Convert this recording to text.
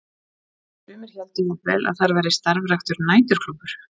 Sumir héldu jafnvel að þar væri starfræktur næturklúbbur.